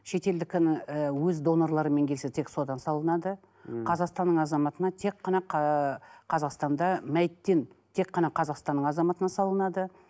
шетелдікін і өз донорларымен келсе тек содан салынады мхм қазақстанның азаматына тек қана қазақстанда мәйттен тек қана қазақстанның азаматына салынады